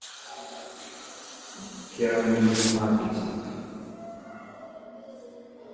киану ривз матрица